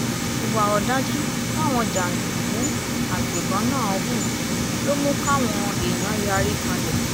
ìwà ọ̀dájú táwọn jàǹdùkú àgbẹ̀bọ́n náà hù ló mú káwọn èèyàn yarí kanlẹ̀